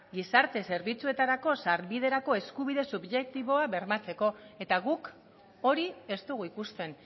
gizarte zerbitzuetarako sarbiderako eskubide subjektiboak bermatzeko eta guk hori ez dugu ikusten